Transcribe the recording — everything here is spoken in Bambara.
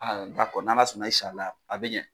n'Ala sɔnna a bɛ ɲɛ .